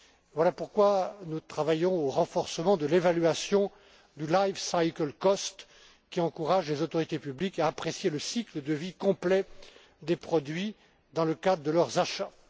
société. Voilà pourquoi nous travaillons au renforcement de l'évaluation du life cycle cost, qui encourage les autorités publiques à apprécier le cycle de vie complet des produits dans le cadre de leurs